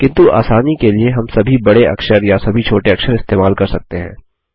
किन्तु आसानी के लिए हम सभी बड़े अक्षर या सभी छोटे अक्षर इस्तेमाल कर सकते हैं